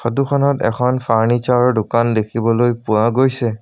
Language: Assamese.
ফটো খনত এখন ফাৰ্নিচাৰ ৰ দোকান দেখিবলৈ পোৱা গৈছে।